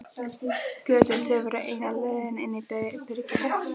Götin tvö voru eina leiðin inn í byrgið.